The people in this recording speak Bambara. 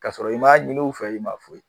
K'a sɔrɔ i m'a ɲini u fɛ i ma foyi